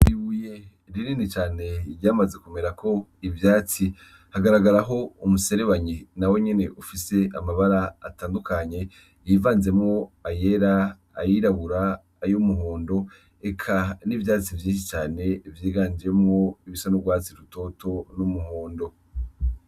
I wiye ririni cane ryamaze kumera ko ivyatsi hagaragara ho umuserebanyi na we nyene ufise amabara atandukanye yivanzemo ayera ayirabura ayo umuhondo eka n'ivyatsi vy'inshi cane ivyiganjemwo ibisan'urwatsi rutoto n'umuhondo.